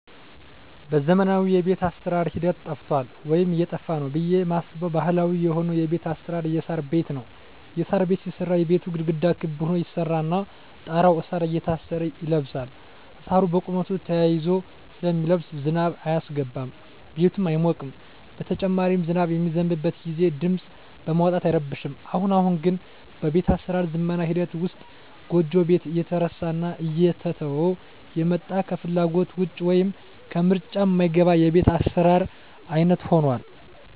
በዘመናዊ የቤት አሰራር ሂደት ጠፍቷል ወይም እየጠፋ ነው ብየ ማስበው ባህላዊ የሆነው የቤት አሰራር የሳር ቤት ነው። የሳር ቤት ሲሰራ የቤቱ ግድግዳ ክብ ሁኖ ይሰራና ጣራው እሳር እየታሰረ ይለብሳል እሳሩ በቁመቱ ተያይዞ ስለሚለብስ ዝናብ አያስገባም ቤቱም አይሞቅም በተጨማሪም ዝናብ በሚዘንብበት ግዜ ድምጽ በማውጣት አይረብሽም። አሁን አሁን ግን በቤት አሰራር ዝመና ሂደት ውስጥ ጎጆ ቤት እየተረሳና እየተተወ የመጣ ከፍላጎት ውጭ ወይም ከምርጫ ማይገባ የቤት አሰራር አይነት ሁኗል።